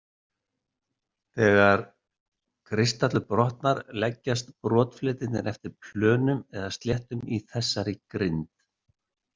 Þegar kristallur brotnar leggjast brotfletirnir eftir plönum eða sléttum í þessarri grind.